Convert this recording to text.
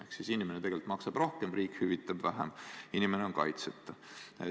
Ehk inimene tegelikult maksab rohkem, riik hüvitab vähem, inimene on kaitseta.